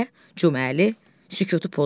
Cüməəli sükutu pozdu.